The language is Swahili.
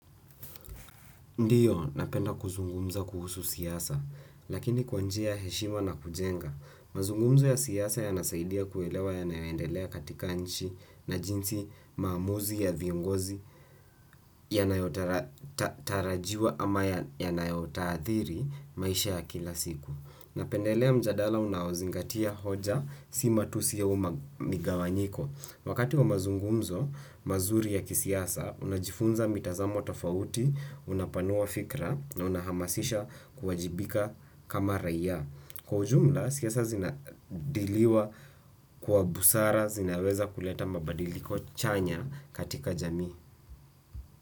Ndiyo, napenda kuzungumza kuhusu siasa, lakini kwa njia ya heshima na kujenga. Mazungumzo ya siasa yanasaidia kuelewa yanayoendelea katika nchi na jinsi maamuzi ya viongozi yanayotarajiwa ama yanayotadhiri maisha ya kila siku. Napendelea mjadala unaozingatia hoja si matusi au migawanyiko. Wakati wa mazungumzo, mazuri ya kisiasa, unajifunza mitazamo tofauti, unapanua fikra na unahamasisha kuwajibika kama raia. Kwa ujumla, siasa zinadiliwa kwa busara, zinaweza kuleta mabadiliko chanya katika jamii.